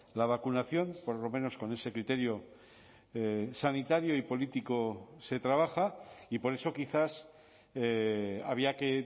la vacunación por lo menos con ese criterio sanitario y político se trabaja y por eso quizás había que